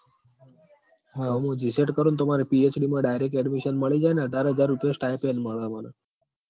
હમ મું GSET કરું ન તો માર PhD માં direct admission મળી જાય અન અઢાર હાજર રૂપિયા stipend મળ મન